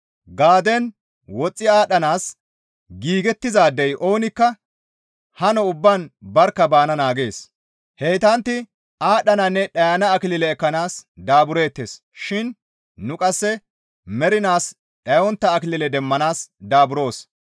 Gaadden woxxi aadhdhanaas giigettizaadey oonikka hano ubbaan barkka bana naagees. Heytantti aadhdhananne dhayana akilile ekkanaas daabureettes shin nu qasse mernaas dhayontta akilile demmanaas daaburoos.